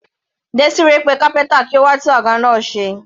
Desire pe kápẹ́ntà kí ó wá tún àga náà ṣe.